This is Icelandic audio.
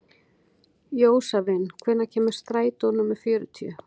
Jósavin, hvenær kemur strætó númer fjörutíu?